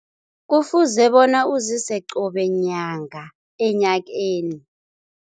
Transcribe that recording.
Kufuze bona uzise qobe nyanga enyakeni.